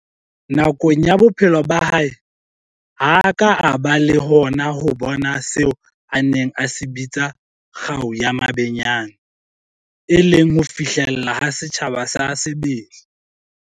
Nakong ya bophelo ba hae, ha a ka a ba le hona ho bona seo a neng a se bitsa 'kgau ya mabenyane', e leng ho fihlelleha ha setjhaba sa sebele.